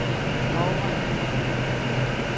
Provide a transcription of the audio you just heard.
borgerne